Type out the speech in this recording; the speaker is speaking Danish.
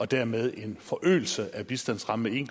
dermed en forøgelse af bistandsrammen